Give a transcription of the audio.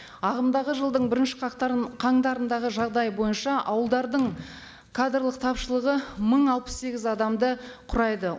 ағымдағы жылдың бірінші қаңтарындағы жағдай бойынша ауылдардың кадрлық тапшылығы мың алпыс сегіз адамды құрайды